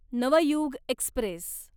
Navyug Express